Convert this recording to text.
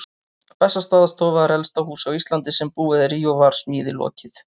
Bessastaðastofa er elsta hús á Íslandi sem búið er í og var smíði lokið